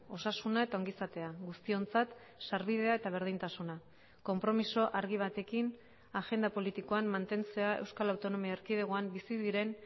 osasuna eta ongizatea guztiontzat sarbidea eta berdintasuna konpromiso argi batekin agenda politikoan mantentzea euskal autonomia erkidegoan bizi diren